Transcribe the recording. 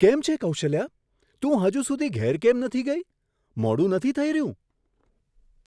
કેમ છે કૌશલ્યા, તું હજુ સુધી ઘેર કેમ નથી ગઈ? મોડું નથી થઈ રહ્યું?